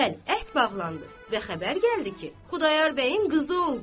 Bəli, əht bağlandı və xəbər gəldi ki, Xudayar bəyin qızı oldu.